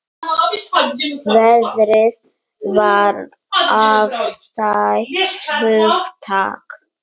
Veðrið var afstætt hugtak.